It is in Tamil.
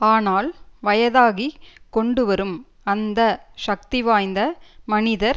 ஆனால் வயதாகிக் கொண்டுவரும் அந்த சக்திவாய்ந்த மனிதர்